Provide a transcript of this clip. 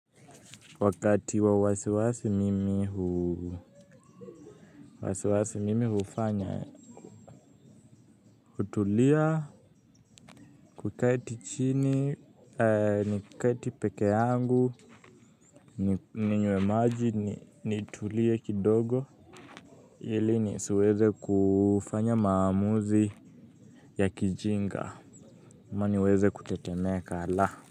Wakati wa wasiwasi mimi huu wasiwasi mimi hufanya. Kutulia kuketi chini. Ni kuketi pekee yangu ninywe maji nitulie kindogo ili ni siweze kufanya maamuzi ya kijinga ama ni weze kutetemeka la.